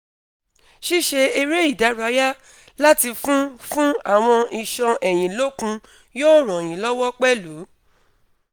ṣíṣe eré ìdárayá láti fún fún awọn iṣan ẹ̀yìn lókun yóò ran yín lọ́wọ́ pẹ̀lú